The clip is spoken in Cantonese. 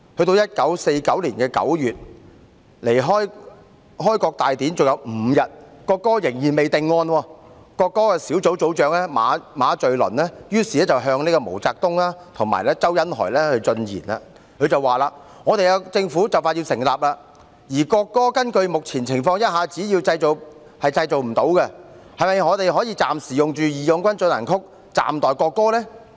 到1949年9月，距離開國大典還有5天，國歌仍未定案，國歌小組組長馬敘倫於是向毛澤東和周恩來進言："我們政府就要成立，而國歌根據目前情況一下子是製造不出來的，是否我們可暫時用'義勇軍進行曲'暫代國歌？